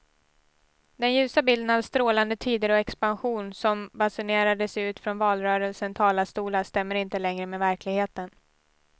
Den ljusa bilden av strålande tider och expansion som basunerades ut från valrörelsens talarstolar stämmer inte längre med verkligheten.